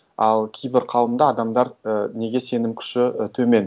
ал кейбір қауымда адамдар і неге сенім күші төмен